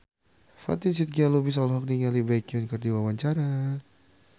Fatin Shidqia Lubis olohok ningali Baekhyun keur diwawancara